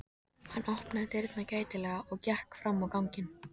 Hann opnaði dyrnar gætilega og gekk fram á ganginn.